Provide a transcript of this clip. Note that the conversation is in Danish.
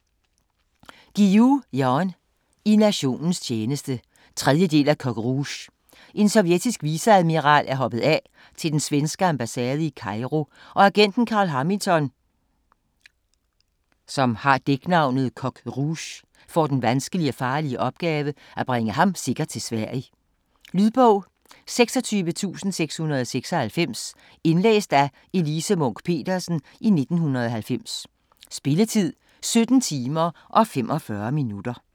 Guillou, Jan: I nationens interesse 3. del af Coq Rouge. En sovjetisk viceadmiral er hoppet af til den svenske ambassade i Cairo, og agenten Carl Hamilton ("Coq Rouge") får den vanskelige og farlige opgave at bringe ham sikkert til Sverige. Lydbog 26696 Indlæst af Elise Munch-Petersen, 1990. Spilletid: 17 timer, 45 minutter.